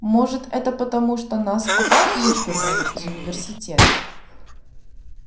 может это потому что нас опять вышвырнули из университета